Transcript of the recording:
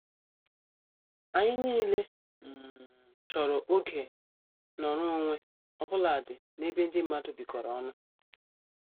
Anyị nile um chọrọ oge nọrọ onwe obuladi n' ebe ndị mmadụ bikoro ọnụ.